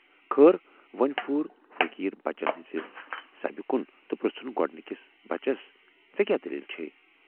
خٲر وۅنۍ پھیوٗر فقیٖر بچن ہٕنزِ سبہٕ کُن تہٕ پُرژھُن گۅڈنِکِس بچس ژے کیاہ دٔلیٖل چھےَ؟